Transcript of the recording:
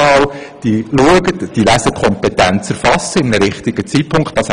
Man soll nun wirklich einmal die Lesekompetenz zu einem richtigen Zeitpunkt erfassen;